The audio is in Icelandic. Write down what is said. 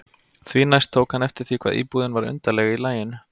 Því næst tók hann eftir því hvað íbúðin var undarleg í laginu.